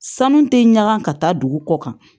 Sanu tɛ ɲaga ka taa dugu kɔ kan